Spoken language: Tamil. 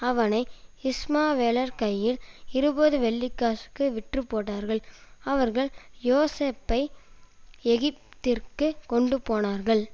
அவனை இஸ்மவேலர் கையில் இருபது வெள்ளிக்காசுக்கு விற்றுப்போட்டார்கள் அவர்கள் யோசேப்பை எகிப்திற்குக் கொண்டு போனார்கள்